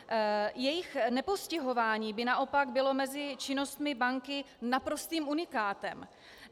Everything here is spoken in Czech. Jejich nepostihování by naopak bylo mezi činnostmi banky naprostým unikátem.